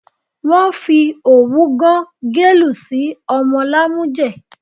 Wọ́n fi òwú gán gẹ̀lú sí ọmọ lámújẹ̀